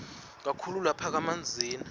kakhulu lapha kamanzini